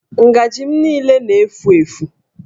Ngajị m niile na-éfù